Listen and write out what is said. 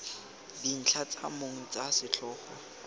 dintlha tsa mong tsa setlhogo